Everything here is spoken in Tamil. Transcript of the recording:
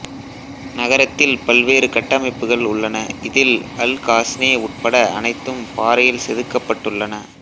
நகரத்தில் பல்வேறு கட்டமைப்புகள் உள்ளன இதில் அல் காஸ்னே உட்பட அனைத்தும் பாறையில் செதுக்கப்பட்டுள்ளன